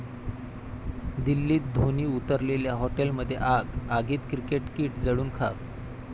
दिल्लीत धोनी उतरलेल्या हॉटेलमध्ये आग, आगीत क्रिकेट किट जळून खाक